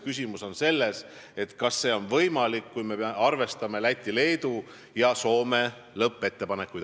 Küsimus on selles, kas see on võimalik, kui me arvestame Läti, Leedu ja Soome lõppettepanekuid.